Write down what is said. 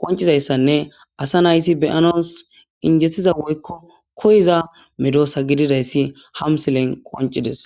qoncizayssanne asa nayti beyanos injettiza woykko koyiza medoosa gididayssi hamsilen qoncides